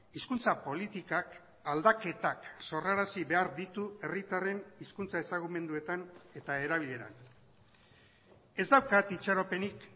hizkuntza politikak aldaketak sorrarazi behar ditu herritarren hizkuntza ezagumenduetan eta erabileran ez daukat itxaropenik